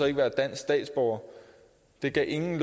ikke være dansk statsborger det gav ingen